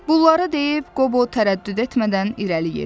Bunları deyib Qobo tərəddüd etmədən irəli yeridi.